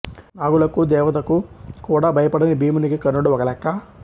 నాగులకు దేవతకూ కూడా భయపడని భీమునికి కర్ణుడు ఒక లెక్కా